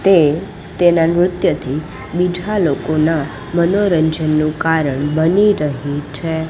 તે તેના નૃત્યથી બીજા લોકોના મનોરંજનનું કારણ બની રહી છે.